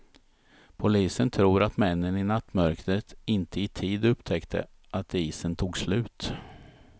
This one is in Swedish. Polisen tror att männen i nattmörkret inte i tid upptäckte att isen tog slut.